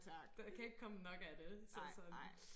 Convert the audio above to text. Der kan ikke komme nok af det så sådan